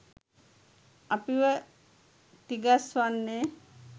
අපව තිගස්‌වන්නේ